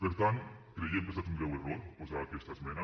per tant creiem que ha estat un greu error posar aquesta esmena